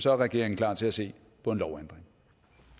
er regeringen klar til at se på en lovændring